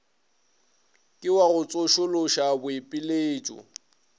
ke wa go tsošološa boipiletšo